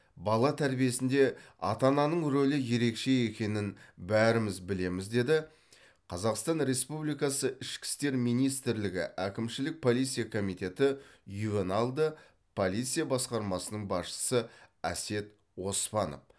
бала тәрбиесінде ата ананың рөлі ерекше екенін бәріміз білеміз деді қазақстан ресупбликасы ішкі істер министрлігі әкімшілік полиция комитеті ювеналды полиция басқармасының басшысы әсет оспанов